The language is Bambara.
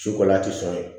Su kola tɛ sɔn ye